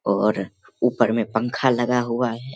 और ऊपर में पंखा लगा हुआ है।